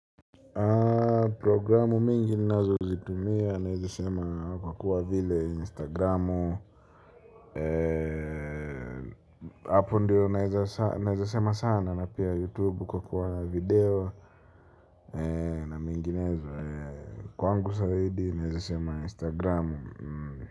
Programu mingi nazo zitumia nawezasema kwa kuwa vile instagramu. Hapo ndiyo naweza sema sana, na pia YouTube kwa kuwa video. Na minginezo kwangu zaidi nawezasema instagramu.